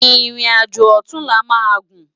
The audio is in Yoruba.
Irin ájó òtúnlá má gún